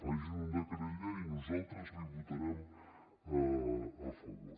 facin un decret llei nosaltres hi votarem a favor